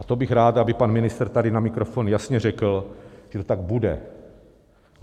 A to bych rád, aby pan ministr tady na mikrofon jasně řekl, že to tak bude.